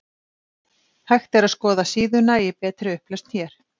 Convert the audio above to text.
Hægt er að skoða síðuna í betri upplausn hér.